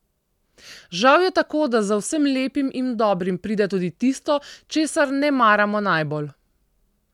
Žal je tako, da za vsem lepim in dobrim pride tudi tisto, česar ne maramo najbolj.